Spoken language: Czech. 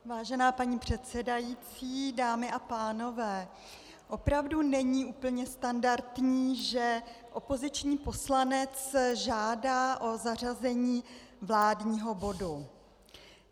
Vážená paní předsedající, dámy a pánové, opravdu není úplně standardní, že opoziční poslanec žádá o zařazení vládního bodu.